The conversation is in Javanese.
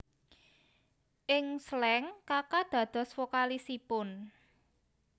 Ing Slank Kaka dados vokalisipun